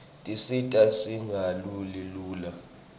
tisita singaguli lula